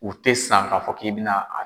U te san k'a fɔ k'i bɛna a.